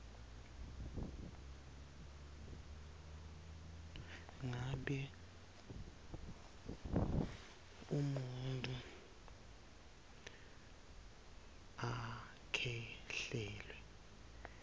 ngabe umuntfu akhwehlela